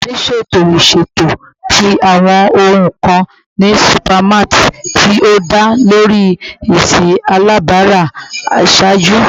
Oludari ṣeto iṣeto ti awọn ohun kan ni supermarts ti o da lori esi alabara iṣaaju